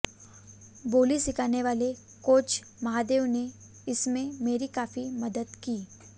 बोली सिखाने वाले कोच महादेव ने इसमें मेरी काफी मदद की